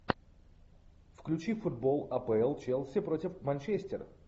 включи футбол апл челси против манчестер